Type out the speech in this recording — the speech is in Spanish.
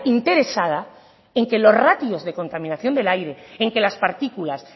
interesada en que los ratios de contaminación del aire en que las partículas